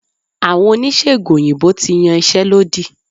Àwọn Oníṣègùn òyìnbó ti yan iṣẹ́ lódì.